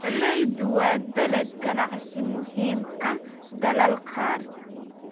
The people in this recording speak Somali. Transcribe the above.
Galleyda waa dalag ganacsi muhiim ah dalal qaar.